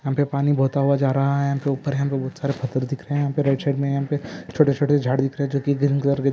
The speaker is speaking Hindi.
यहाँ पर पानी बहता हुआ जा रहा हैं ऊपर पत्थर दिख रहैं हैं हरा पर शेड मै छोट छोटे जाड दिख रहैं हैं। जो की--